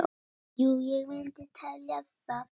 Jú ég myndi telja það.